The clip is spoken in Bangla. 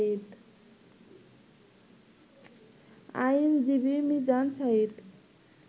আইনজীবী মিজান সাঈদ